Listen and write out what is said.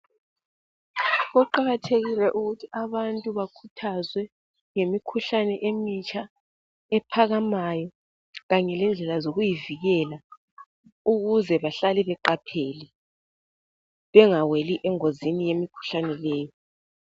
Kuqakathekile ukuthi abantu bakhuthazwe ngemikhuhlane emitsha ephakamayo kanye lendlela zokuyivikela ukuze bahlale beqaphele bengaweli engozini yemikhuhlane le.